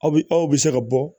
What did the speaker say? Aw bi aw bɛ se ka bɔ